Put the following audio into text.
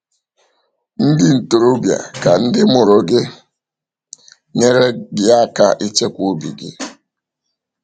Ndị ntorobịa, ka ndị mụrụ gị nyere gị aka ichekwa obi gị!